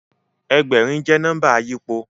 Ẹgbẹ̀rin jẹ́ nọ́mbà àyípo